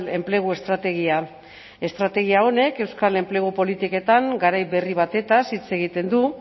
enplegu estrategia estrategia honek euskal enplegu politiketan garai berri batez hitz egiten du